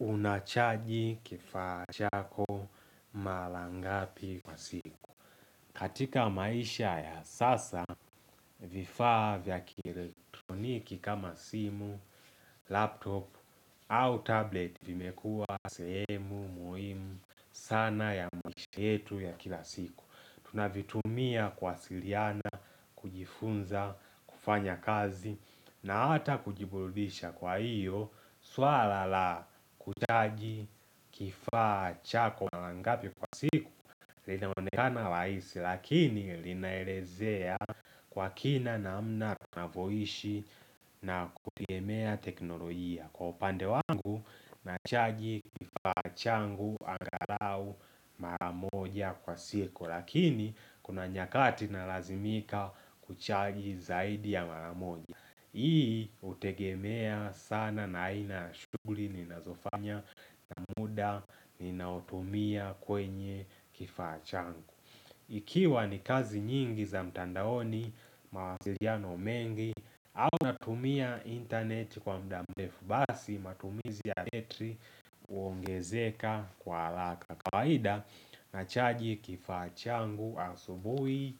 Unachaji kifaa chako mara ngapi kwa siku katika maisha ya sasa vifaa vya kieletroniki kama simu, laptop au tablet vimekua sehemu muhimu sana ya maisha yetu ya kila siku Tunavitumia kuwasiliana, kujifunza, kufanya kazi na ata kujiburudisha kwa iyo swala la kuchaji kifaa chako mara ngapi kwa siku linaonekana rahaisi lakini linaelezea kwa kina namna tunavyoishi na kupiemea teknolojia Kwa upande wangu nachaji kifaa changu angalau mara moja kwa siku Kwa lakini, kuna nyakati na lazimika kuchaji zaidi ya mara moja. Hii, hutegemea sana na ina shughuli ninazofanya na muda ninaotumia kwenye kifaa changu. Ikiwa ni kazi nyingi za mtandaoni mawasiliano mengi au natumia internet kwa muda mrefu basi matumizi ya betri huongezeka kwa haraka. Na kawaida nachaji kifaa changu asubuhi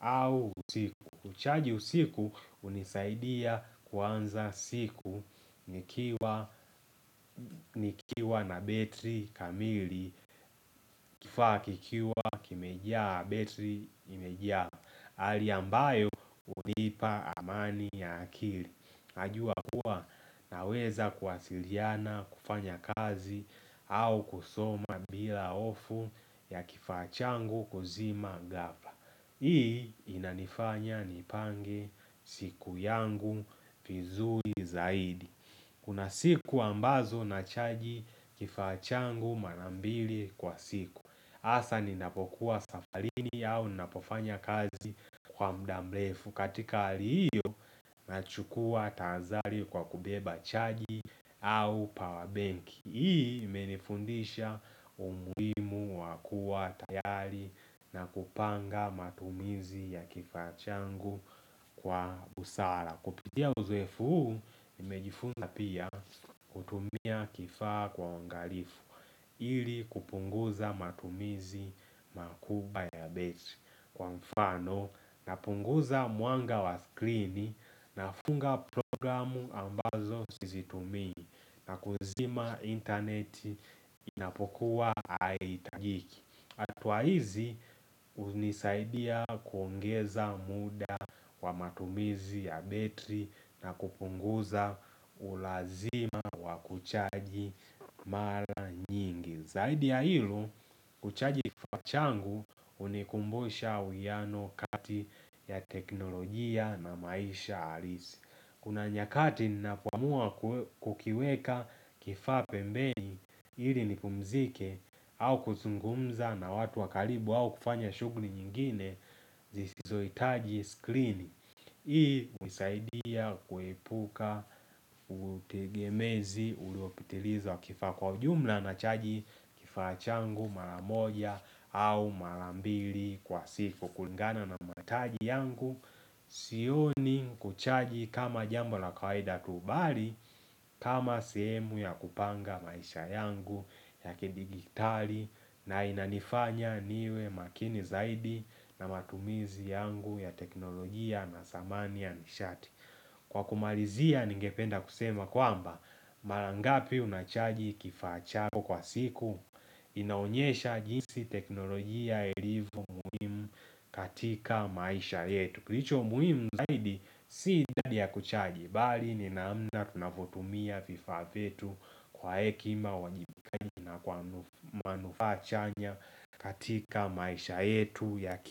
au usiku. Kuchaji usiku hunisaidia kuanza siku nikiwa na betri kamili. Kifaa kikiwa kimejia betri imejaa. Hali ambayo hunipa amani ya akili. Najua kuwa naweza kuwasiliana kufanya kazi au kusoma bila hofu ya kifaa changu kuzima ghafla Hii inanifanya nipange siku yangu vizuri zaidi Kuna siku ambazo nachaji kifaa changu mara mbili kwa siku hasa ninapokuwa safarini au ninapofanya kazi kwa muda mrefu Kkatika hali hiyo nachukua tahadhari kwa kubeba chaji au power benki Hii imenifundisha umuhimu wa kua tayari na kupanga matumizi ya kifaa changu kwa busara Kupitia uzoefu huu nimejifunza pia kutumia kifaa kwa uangalifu ili kupunguza matumizi makubwa ya betri kwa mfano napunguza mwanga wa skrini nafunga programu ambazo sizitumii na kuzima internet inapokuwa haihitajiki hatua hizi hunisaidia kuongeza muda wa matumizi ya betri na kupunguza ulazima wa kuchaji mara nyingi Zaidi ya hilo kuchaji kifaa changu hunikumbusha uwiano kati ya teknolojia na maisha halisi Kuna nyakati ninapoamua kukiweka kifaa pembeni ili nipumzike au kuzungumza na watu wa karibu au kufanya shughuli nyingine zisizohitaji skrini Hii husaidia kuepuka utegemezi uliopitiliza wa kifaa kwa jumla na chaji kifaa changu mara moja au mara mbili kwa siku kulingana na mahitaji yangu Sioni kuchaji kama jambo la kawaida tu bali kama sehemu ya kupanga maisha yangu ya kidijitali na inanifanya niwe makini zaidi na matumizi yangu ya teknolojia na samani ya nishati Kwa kumalizia ningependa kusema kwamba Mara ngapi unachaji kifaa chako kwa siku inaonyesha jinsi teknolojia ilivyo muhimu katika maisha yetu Kilicho muhimu zaidi si idadi ya kuchaji bali ni naamna tunavyotumia vifaa vyetu kwa hekima, uwajibikaji na kwa manufaa chanya katika maisha yetu ya.